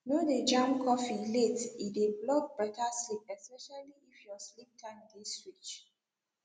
no dey jam coffee late e dey block better sleep especially if your sleep time dey switch